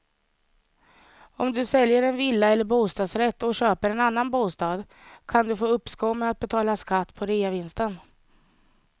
Om du säljer en villa eller bostadsrätt och köper en annan bostad kan du få uppskov med att betala skatt på reavinsten.